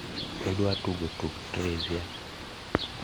idwa tugo tuk trivia